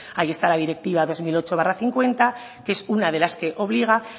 ahí está la directiva dos mil ocho barra cincuenta que es una de las que obliga